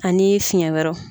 Ani fiyɛn wɛrɛw.